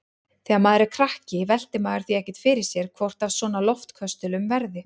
Þegar maður er krakki veltir maður því ekkert fyrir sér hvort af svona loftköstulum verði.